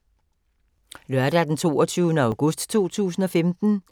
Lørdag d. 22. august 2015